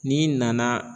N'i nana